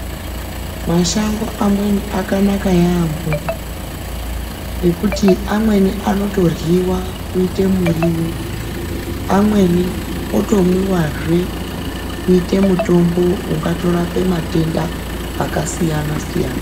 Mashango amweni akanaka yambo ngekuti amweni anotoryiwa kuita muriwo amweni otomwiwa kuita mutombo unotorapa matenda akasiyana-siyana.